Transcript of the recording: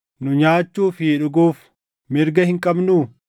Nu nyaachuu fi dhuguuf mirga hin qabnuu?